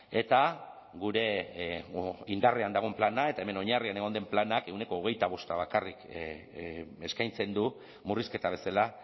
eta gure indarrean dagoen plana eta hemen oinarrian egon den planak ehuneko hogeita bosta bakarrik eskaintzen du murrizketa bezala